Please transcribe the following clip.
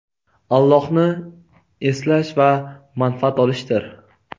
Allohni eslash va manfaat olishdir.